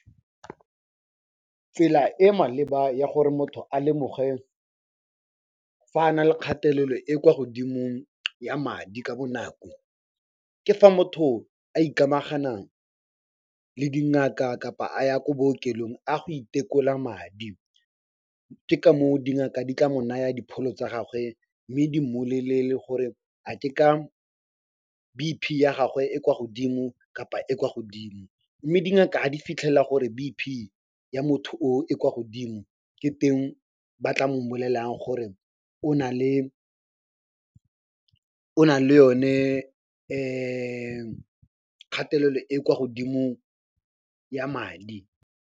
Tsela e maleba ya gore motho a lemoge fa a nale kgatelelo e kwa godimo ya madi ka bonako, ke fa motho a ikamagana le dingaka kapa a ya ko bookelong a go itekola madi. Ke ka moo dingaka di tla mo naya dipholo tsa gagwe mme di mmolelele gore a ke ka B_P ya gagwe e kwa godimo kapa e kwa godimo. Mme dingaka ga di fitlhela gore B_P ya motho oo e kwa godimo, ke teng ba tla mmolellang gore o na le yone kgatelelo e kwa godimo ya madi.